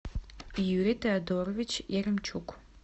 юрий теодорович яремчук